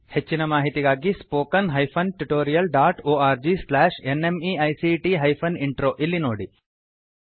ಹೆಚ್ಚಿನ ಮಾಹಿತಿಗಾಗಿ spoken hyphen tutorial dot org slash NMEICT hyphen intro ಇಲ್ಲಿ ನೋಡಿ